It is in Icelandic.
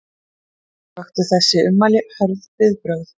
Vöktu þessi ummæli hörð viðbrögð